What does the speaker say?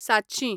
सातशीं